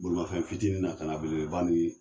Bolimafɛn fitinin na kana beleba nin